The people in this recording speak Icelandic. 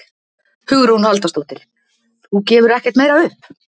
Hugrún Halldórsdóttir: Þú gefur ekkert meira upp?